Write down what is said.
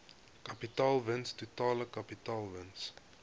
kapitaalwins totale kapitaalwins